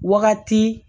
Wagati